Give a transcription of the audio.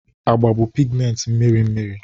agba bụ pigmenti mmiri mmiri